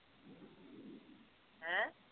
ਹੈਂ